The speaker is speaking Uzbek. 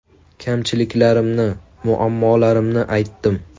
Kamchiliklarni, muammolarimni aytdim.